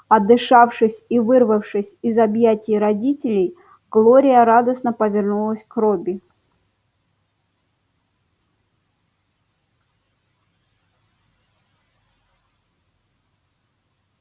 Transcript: отдышавшись и вырвавшись из объятий родителей глория радостно повернулась к робби